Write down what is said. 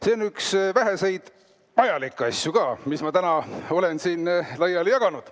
See on üks väheseid vajalikke asju, mis ma täna olen siin laiali jaganud.